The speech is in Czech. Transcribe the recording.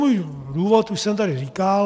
Svůj důvod už jsem tady říkal.